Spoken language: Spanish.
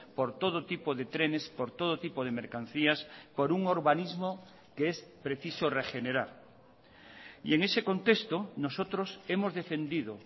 por todo tipo de trenes por todo tipo de mercancías por un urbanismo que es preciso regenerar y en ese contexto nosotros hemos defendido